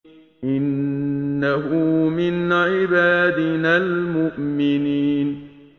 إِنَّهُ مِنْ عِبَادِنَا الْمُؤْمِنِينَ